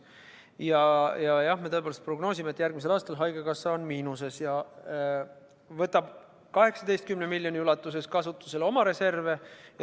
Jah, me tõepoolest prognoosime, et järgmisel aastal on haigekassa miinuses ja võtab 18 miljoni euro ulatuses kasutusele oma reserve.